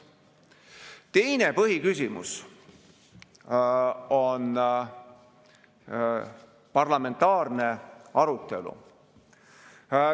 Teine põhiküsimus on parlamentaarne arutelu.